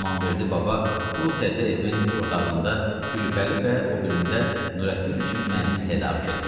İmamverdi baba bu təzə evin bir otağında Gülpəri və o birində Nurəddin üçün mənzil tədarük eləmişdi.